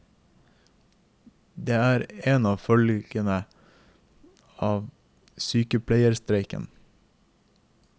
Det er en av følgene av sykepleierstreiken.